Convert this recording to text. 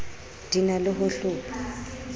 di na le ho hlopha